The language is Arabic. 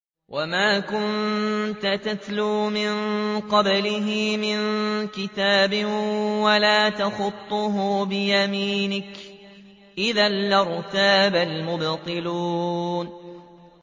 وَمَا كُنتَ تَتْلُو مِن قَبْلِهِ مِن كِتَابٍ وَلَا تَخُطُّهُ بِيَمِينِكَ ۖ إِذًا لَّارْتَابَ الْمُبْطِلُونَ